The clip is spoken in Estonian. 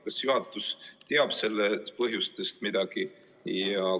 Kas juhatus teab midagi selle põhjustest?